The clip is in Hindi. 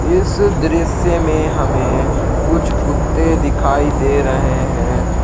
इस दृश्य में हमे कुछ कुत्ते दिखाई दे रहे हैं।